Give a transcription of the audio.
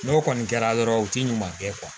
N'o kɔni kɛra dɔrɔn u ti ɲuman kɛ